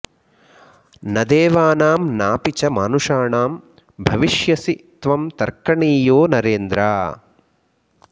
न देवानां नापि च मानुषाणां भविष्यसि त्वं तर्कणीयो नरेन्द्र